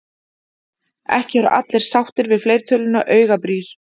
Ekki eru allir sáttir við fleirtöluna augabrýr.